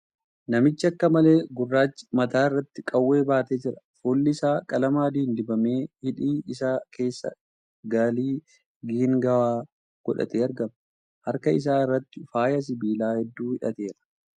Namichi akka malee gurrachi mataa irratti qawwee baatee jira . Fuulli isaa qalama adiin dibamee hidhii isaa keessa galii geengawaa godhatee argama . Harka isaa irratti faaya sibiilaa hedduu hidhateera.